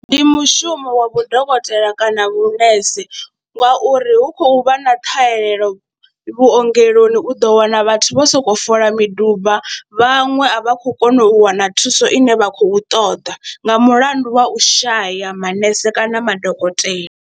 Ndi mushumo wa vhudokotela kana vhunese ngauri hu khou vha na ṱhahelelo vhuongeloni, u ḓo wana vhathu vho sokou fola miduba vhaṅwe a vha khou kona u wana thuso ine vha khou ṱoḓa nga mulandu wa u shaya manese kana madokotela.